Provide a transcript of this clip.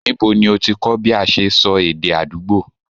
Ńibo ní ọ ti kọ́ bí a ṣe sọ èdè àdúgbò?